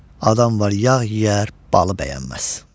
Adam var yağ yeyər, balı bəyənməz.